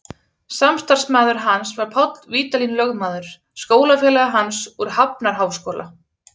Samstarfsmaður hans var Páll Vídalín lögmaður, skólafélagi hans úr Hafnarháskóla.